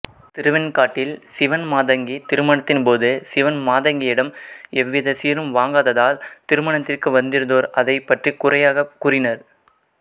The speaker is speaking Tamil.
திருவெண்காட்டில் சிவன் மாதங்கி திருமணத்தின்போது சிவன் மாதங்கியிடம் எவ்வித சீரும் வாங்காததால் திருமணத்திற்கு வந்திருந்தோர் அதைப் பற்றி குறையாகக் கூறினர்